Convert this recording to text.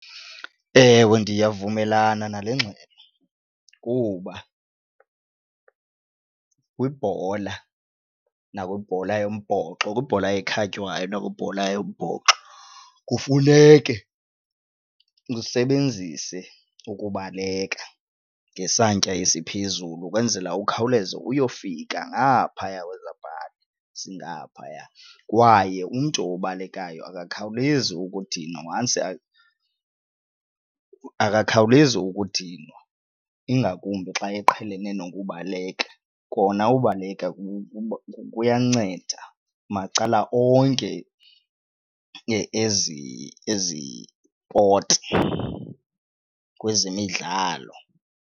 Ewe, ndiyavumelana nale ngxelo kuba kwibhola nakwibhola yombhoxo, kwibhola ekhatywayo nakwibhola yombhoxo kufuneke usebenzise ukubaleka ngesantya esiphezulu ukwenzela ukhawuleze uyofika ngaphaya kwezaa pali zingaphaya kwaye umntu obalekayo akakhawulezi ukudinwa once akakhawulezi ukudinwa ingakumbi xa eqhelene nokubaleka, kona ubaleka kuyanceda macala onke ezipoti kwezemidlalo.